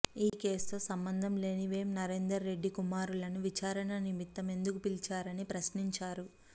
ఈ కేసుతో సంబంధం లేని వేం నరేందర్ రెడ్డి కుమారులను విచారణ నిమిత్తం ఎందుకు పిలిపించారని ప్రశ్నించారు